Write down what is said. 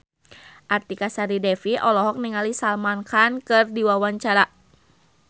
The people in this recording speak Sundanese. Artika Sari Devi olohok ningali Salman Khan keur diwawancara